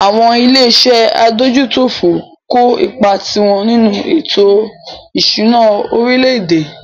Àwọn ilé iṣé adójútòfò ń kó ipá tiwọn nínú ètò ìṣúná orílẹ̀-èdè.